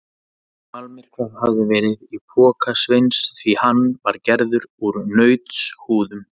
Almyrkvað hafði verið í poka Sveins því hann var gerður úr nautshúðum.